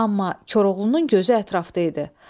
Amma Koroğlunun gözü ətrafda idi.